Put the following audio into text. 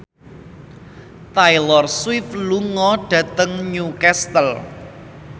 Taylor Swift lunga dhateng Newcastle